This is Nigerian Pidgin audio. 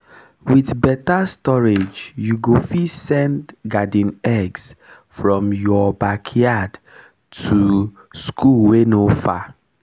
with better storageyou go fit send garden eggs from your backyard to school wey no far